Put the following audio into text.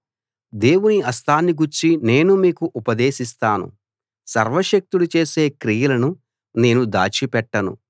దేవుని హస్తాన్ని గూర్చి నేను మీకు ఉపదేశిస్తాను సర్వశక్తుడు చేసే క్రియలను నేను దాచిపెట్టను